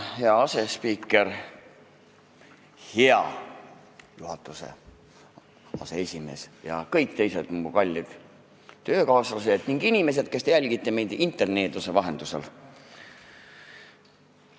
Hea asespiiker, hea juhatuse aseesimees ja kõik teised mu kallid töökaaslased ning inimesed, kes te jälgite meid interneeduse vahendusel!